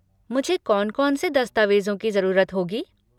मुझे कौन कौन से दस्तावेजों की जरूरत होगी?